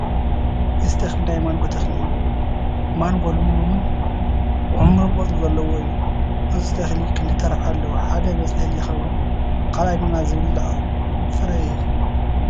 እዚ ተኽሊ ናይ ማንጐ ተኽሊ እዩ፡፡ ማንጐ ልምሉምን ዕሙርን ቆፅሊ ዘለዎ እዩ፡፡ እዚ ተኽሊ ክልተ ረብሓ ኣለዎ፡፡ ሓደ መፅለሊ ይኸውን፡፡ ካልኣይ ድማ ዝብላዕ ፍረ ይህብ፡፡